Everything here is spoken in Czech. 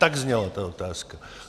Tak zněla ta otázka.